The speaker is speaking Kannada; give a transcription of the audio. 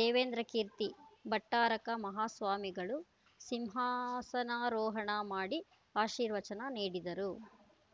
ದೇವೇಂದ್ರಕೀರ್ತಿ ಭಟ್ಟಾರಕ ಮಹಾಸ್ವಾಮಿಗಳು ಸಿಂಹಾಸನಾರೋಹಣ ಮಾಡಿ ಆಶೀರ್ವಚನ ನೀಡಿದರು